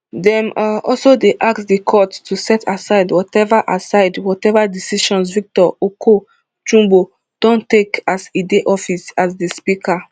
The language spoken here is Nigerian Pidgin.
dem um also dey ask di court to set aside watever aside watever decisions victor oko jumbo don take as e dey office as di speaker